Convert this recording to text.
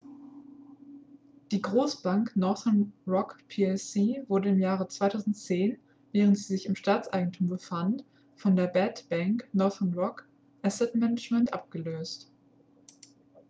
die großbank northern rock plc wurde im jahre 2010 während sie sich im staatseigentum befand von der bad bank northern rock asset management abgelöst